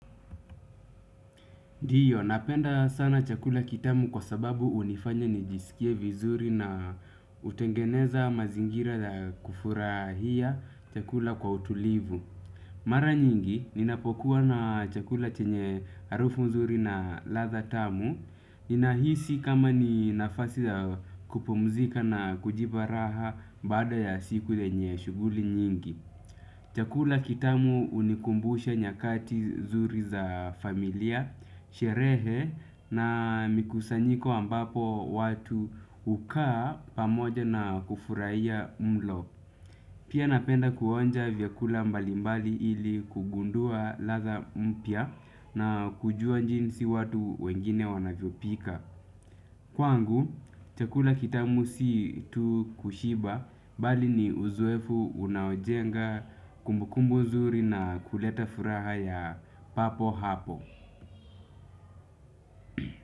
Ndiyo, napenda sana chakula kitamu kwa sababu hunifanya nijisikie vizuri na hutengeneza mazingira ya kufurahia chakula kwa utulivu. Mara nyingi, ninapokuwa na chakula chenye harufu nzuri na ladha tamu. Ninahisi kama ni nafasi ya kupomzika na kujipa raha baada ya siku yenye shughuli nyingi. Chakula kitamu hunikumbusha nyakati zuri za familia, sherehe na mikusanyiko ambapo watu hukaa pamoja na kufurahia mlo. Pia napenda kuonja vyakula mbalimbali ili kugundua ladha mpya na kujua njinsi watu wengine wanavyopika. Kwangu, chakula kitamu si tu kushiba bali ni uzoefu unaojenga kumbukumbu zuri na kuleta furaha ya papo hapo.